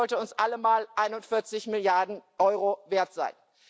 Das sollte uns allemal 41 Milliarden Euro wert sein.